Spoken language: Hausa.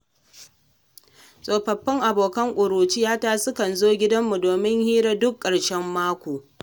Tsofaffin abokanan ƙuruciyata sukan zo gidanmu domin hira duk ƙarshen mako.